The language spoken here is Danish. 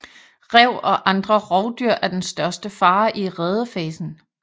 Ræv og andre rovdyr er den største fare i redefasen